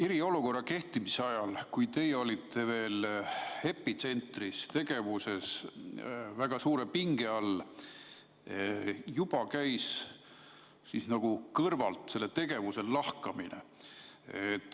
Eriolukorra kehtimise ajal, kui teie olite veel epitsentris väga suure pinge all, käis juba kõrval selle tegevuse lahkamine.